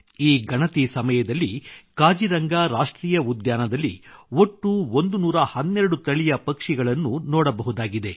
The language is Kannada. ಈ ಗಣತಿ ಸಮಯದಲ್ಲಿ ಕಾಜಿರಂಗಾ ರಾಷ್ಟ್ರೀಯ ಉದ್ಯಾನದಲ್ಲಿ ಒಟ್ಟು 112 ತಳಿಯ ಪಕ್ಷಿಗಳನ್ನು ನೋಡಬಹುದಾಗಿದೆ